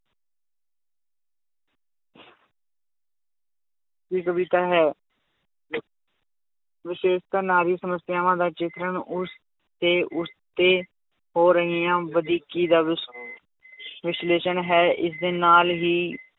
ਦੀ ਕਵਿਤਾ ਹੈ ਵਿਸ਼ੇਸ਼ਤਾ ਨਾਂ ਦੀ ਸਮੱਸਿਆਵਾਂ ਦਾ ਚਿਤਰਣ ਉਸ ਤੇ ਉਸ ਤੇ ਹੋ ਰਹੀਆਂ ਵਧੀਕੀ ਵਿਸ਼~ ਵਿਸ਼ਲੇਸ਼ਣ ਹੈ ਇਸਦੇ ਨਾਲ ਹੀ